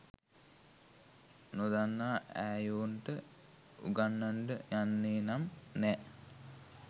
නොදන්න ඈයොන්ට උගන්නන්ඩ යන්නෙනම් නෑ.